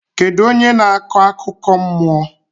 Kedụ onye na-akọ akụkọ mmụọ?